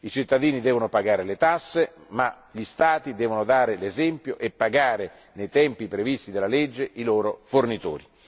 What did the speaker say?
I cittadini devono pagare le tasse, ma gli Stati devono dare l'esempio e pagare nei tempi previsti dalla legge i loro fornitori.